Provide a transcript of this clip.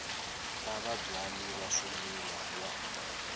ta vabyali va swimila wa